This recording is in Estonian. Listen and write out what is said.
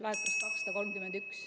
Laekus 231.